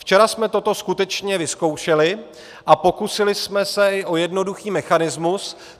Včera jsme toto skutečně vyzkoušeli a pokusili jsme se i o jednoduchý mechanismus.